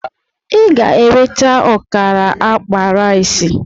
Ị ga-eweta ọkara akpa rice!